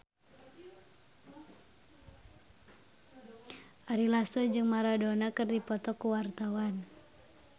Ari Lasso jeung Maradona keur dipoto ku wartawan